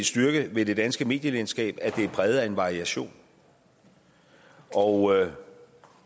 styrke ved det danske medielandskab at det er præget af en variation og